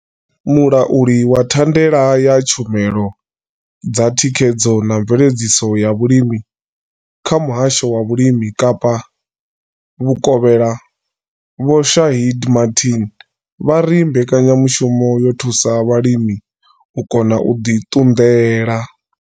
Mulauli wa thandela ya tshumelo dza thikhedzo na mveledziso ya vhulimi kha muhasho wa vhulimi Kapa Vhukovhela vho Shaheed Martin vha ri mbekanyamushumo yo thusa vhalimi u kona u ḓi ṱunḓela.